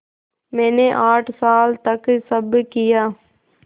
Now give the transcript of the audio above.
मैंने आठ साल तक सब किया